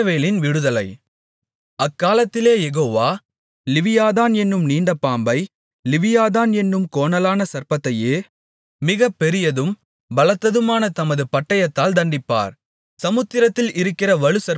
அக்காலத்திலே Jehovah Leviathan என்னும் நீண்ட பாம்பை லிவியாதான் என்னும் கோணலான சர்ப்பத்தையே மிக பெரியதும் பலத்ததுமான தமது பட்டயத்தால் தண்டிப்பார் சமுத்திரத்தில் இருக்கிற வலுசர்ப்பத்தைக் கொன்றுபோடுவார்